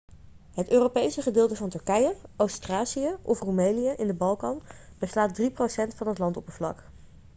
het europese gedeelte van turkije oost-thracië of roemelië in de balkan beslaat 3% van het landoppervlak